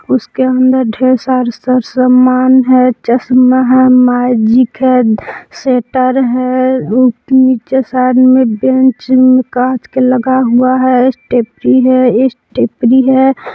उसके अंदर ढेर सारे सामान है चश्मा है मैजिक है स्वेटर है नीचे शायद में बैंच कांच का लगा हुआ है सिट्रेपरी है सिट्रेपरी है।